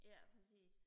ja præcis